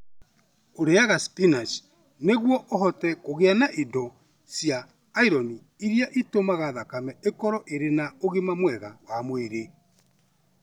Ũrĩaga spinach nĩguo ũhote kũgĩa na indo cia iron iria itũmaga thakame ĩkorũo ĩrĩ na ũgima mwega wa mwĩrĩ.